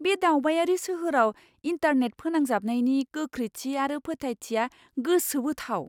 बे दावबायारि सोहोराव इन्टारनेट फोनांजाबनायनि गोख्रैथि आरो फोथायथिआ गोसोबोथाव।